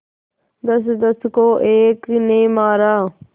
दसदस को एक ने मारा